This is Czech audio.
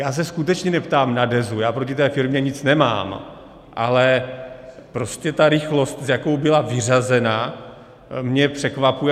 Já se skutečně neptám na Dezu, já proti té firmě nic nemám, ale prostě ta rychlost, s jakou byla vyřazena, mě překvapuje.